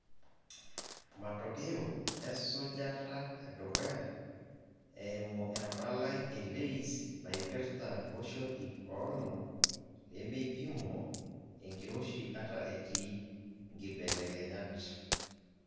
Matokeo esujata edukuya eimu empalai e LAYS naipirta loshon ip oonom, lemeipimo enkiroshi ata etii nkibelekenyat e